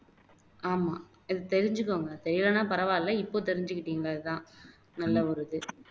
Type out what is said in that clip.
ஆமா இதை தெரிஞ்சுக்கோங்க தெரியலைனா பரவாயில்லை இப்போ தெரிஞ்சுகிட்டீங்களே அதான் நல்ல ஒரு இது